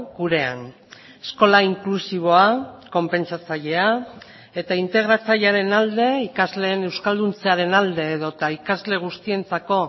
gurean eskola inklusiboa konpentsatzailea eta integratzailearen alde ikasleen euskalduntzearen alde edota ikasle guztientzako